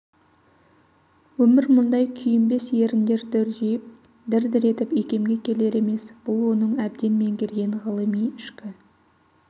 өмір мұндай күйінбес еріндер дүрдиіп дір-дір етіп икемге келер емес бұл оның әбден меңгерген ғылымы ішкі